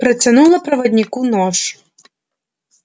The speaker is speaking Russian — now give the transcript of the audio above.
протянула проводнику нож